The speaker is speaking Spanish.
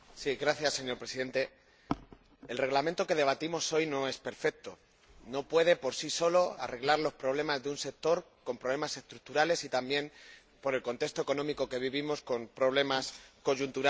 Señor Presidente, el Reglamento que debatimos hoy no es perfecto, no puede por sí solo arreglar las dificultades de un sector con problemas estructurales y también, por el contexto económico que vivimos, con problemas coyunturales.